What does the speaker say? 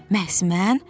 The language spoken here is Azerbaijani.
Məhz mən?